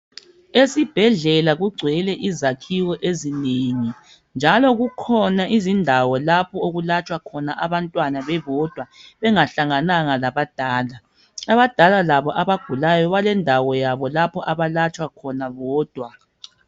Esibhedlela kugcwele izakhiwo ezinengi njalo kukhona izindawo lapho okulatshwa khona abantwana bebodwa bengahlangananga labadala. Abadala labo balendawo yabo lapho abalatshwa khona bodwa.